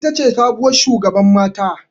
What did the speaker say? Ita ce sabuwar shugaban mata.